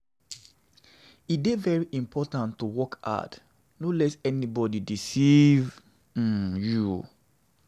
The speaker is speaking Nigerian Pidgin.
E dey very important to work hard, no let anybodi deceive um you.